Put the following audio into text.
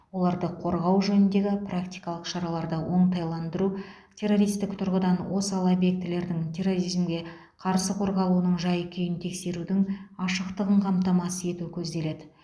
оларды қорғау жөніндегі практикалық шараларды оңтайландыру террористік тұрғыдан осал объектілердің терроризмге қарсы қорғалуының жай күйін тексерудің ашықтығын қамтамасыз ету көзделеді